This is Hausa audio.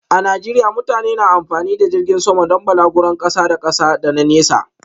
A Najeriya mutane na amfani da jirgin sama don balaguron kasa da kasa da na nesa.